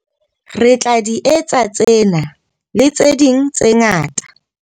Re tla di etsa tsena, le tse ding tse ngata.